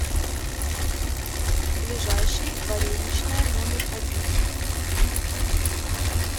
ближайший вареничная номер один